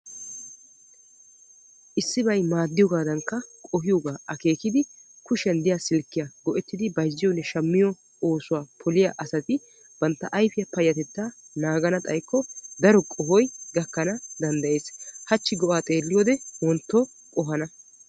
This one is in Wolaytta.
issi maaddiyoogadankka qohiyooga akeekkidi kushiya diyaa silkkiyaa bayzziyonne shammiyo oosuwa poliyaa asati bantta ayfe payyatetta naagana xaykko daro qohoy gakkana danddayyees. hachchi go''a xeelliyoode wontto qohana...